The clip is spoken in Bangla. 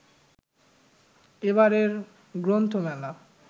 এবারের গ্রন্থমেলা